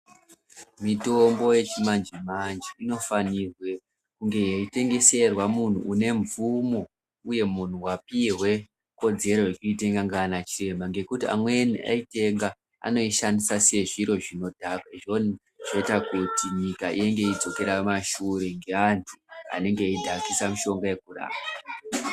Mitombo yechimanje manje inofane kunga yeitengeserwa muntu une mvumo uye muntu wapiwe ruzivo rweitenga ndiana chiremba ngekuti amweni aitenga anoishandisa sezviro zvinodhaka zvoita kuti nyika inge ichidzokera kumashure ngeantu anenhe eyidhakisa mushonga wekurapa.